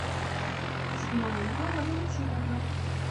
зинаиду валентиновну